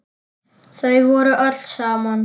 Þau voru öll saman.